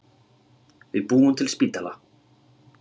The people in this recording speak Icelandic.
Við búum til spítala!